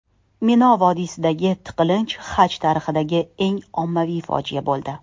Mino vodiysidagi tiqilinch Haj tarixidagi eng ommaviy fojia bo‘ldi.